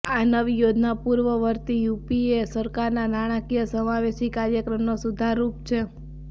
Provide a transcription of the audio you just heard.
આ નવી યોજના પૂર્વવર્તી યુપીએ સરકારના નાણાકીય સમાવેશી કાર્યક્રમનો સુધાર રૂપ છે